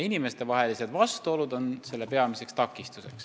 Peamiseks takistuseks on olnud inimestevahelised vastuolud.